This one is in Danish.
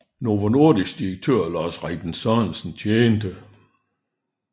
Novo Nordisk direktør Lars Rebien Sørensen tjente